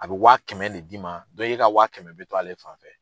A bɛ waa kɛmɛ le d'i ma e ka waa kɛmɛ bɛ to ale fan fɛ.